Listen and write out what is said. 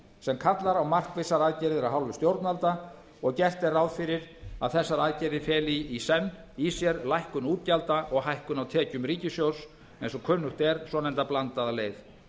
sem kallar á markvissar aðgerðir af hálfu stjórnvalda og gert er ráð fyrir að þessar aðgerðir feli í senn í sér lækkun útgjalda og hækkun á tekjum ríkissjóðs eins og kunnugt er svonefnda blandaða leið